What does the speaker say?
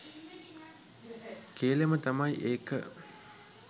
කේලම තමයි ඒක